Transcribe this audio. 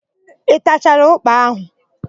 Ị tachara ụ́kpà áhụ̀?